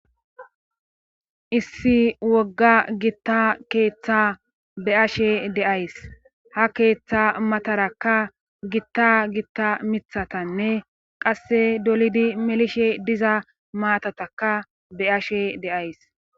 Issi wogga gitta keeththa be ashe deays ha keeththa matarakka gitta gitta mithatanne qasse dolidi melishe diza maatataka be ashe deays.